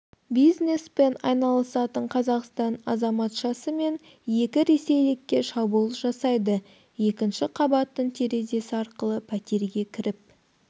бизнеспен айналысатын қазақстан азаматшасы мен екі ресейлікке шабуыл жасайды екінші қабаттың терезесі арқылы пәтерге кіріп